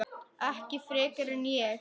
Ekki frekar en ég.